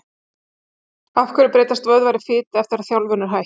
Af hverju breytast vöðvar í fitu eftir að þjálfun er hætt?